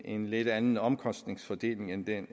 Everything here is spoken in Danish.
en lidt anden omkostningsfordeling end den